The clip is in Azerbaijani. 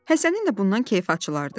Həsənin də bundan kefi açılardı.